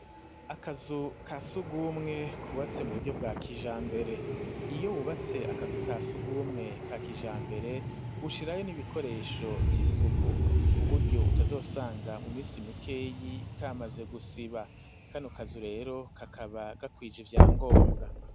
Akazu ka sugumwe kubatse mu buryo bwa kijambere, iyo wubatse akazu ka sugumwe ka kijambere ushirayo n'ibikoresho vy'isuku, kuburyo utazosanga mu minsi mikeyi kamaze gusiba ,kano kazu rero kakaba gakwije ivyangombwa.